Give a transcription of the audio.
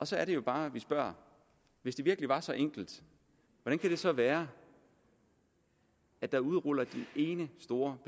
så er det jo bare vi spørger hvis det virkelig var så enkelt hvordan kan det så være at der udrulles den ene store